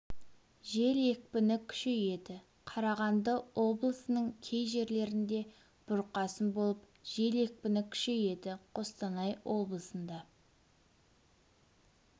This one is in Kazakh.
жел екпіні күшейеді қарағанды облысының кей жерлерінде бұрқасын болып жел екпіні күшейеді қостанай облысында